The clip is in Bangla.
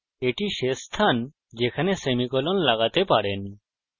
এটি শেষ স্থান যেখানে আপনি সেমিকোলন লাগাতে পারেন